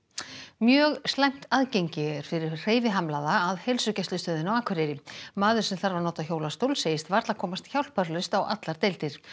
mjög slæmt aðgengi er fyrir hreyfihamlaða að heilsugæslustöðinni á Akureyri maður sem þarf að nota hjólastól segist varla komast hjálparlaust á allar deildir